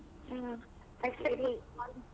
ಹ್ಮ್.